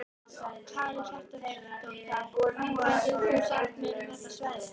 Karen Kjartansdóttir: Hvað getur þú sagt mér um þetta svæði?